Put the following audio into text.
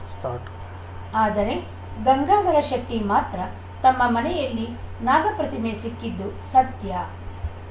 start ಆದರೆ ಗಂಗಾಧರ ಶೆಟ್ಟಿಮಾತ್ರ ತಮ್ಮ ಮನೆಯಲ್ಲಿ ನಾಗಪ್ರತಿಮೆ ಸಿಕ್ಕಿದ್ದು ಸತ್ಯ